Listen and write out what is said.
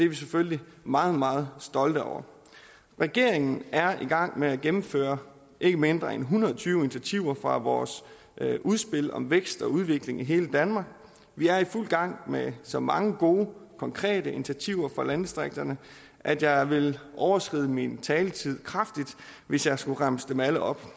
vi selvfølgelig meget meget stolte over regeringen er i gang med at gennemføre ikke mindre end en hundrede og tyve initiativer fra vores udspil om vækst og udvikling i hele danmark vi er i fuld gang med så mange gode konkrete initiativer for landdistrikterne at jeg vil overskride min taletid kraftigt hvis jeg skulle remse dem alle op